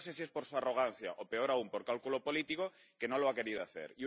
Pero no sé si es por su arrogancia, o, peor aún, por cálculo político, que no lo ha querido hacer.